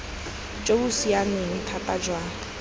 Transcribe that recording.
jo bo siameng thata jwa